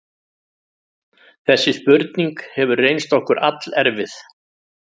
Þessi spurning hefur reynst okkur allerfið.